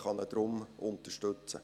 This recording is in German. Er kann ihn deshalb unterstützen.